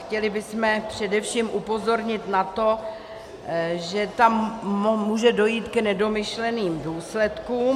Chtěli bychom především upozornit na to, že tam může dojít k nedomyšleným důsledkům -